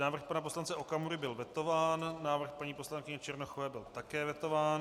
Návrh pana poslance Okamury byl vetován, návrh paní poslankyně Černochové byl také vetován.